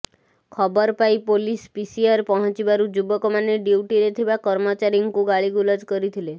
ଖବର ପାଇ police PCR ପହଞ୍ଚିବାରୁ ଯୁବକମାନେ ଡିୟୁଟିରେ ଥିବା କର୍ମଚାରୀଙ୍କୁ ଗାଳିଗୁଲଜ କରିଥିଲେ